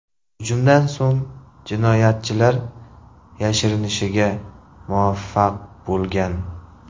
Hujumdan so‘ng jinoyatchilar yashirinishga muvaffaq bo‘lgan.